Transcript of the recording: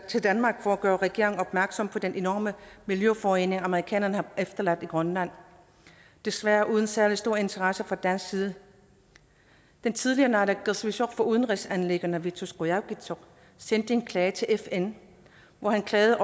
til danmark for at gøre regeringen opmærksom på den enorme miljøforurening amerikanerne har efterladt i grønland desværre uden særlig stor interesse fra dansk side den tidligere naalakkersuisoq for udenrigsanliggender vittus qujaukitsoq sendte en klage til fn hvor han klagede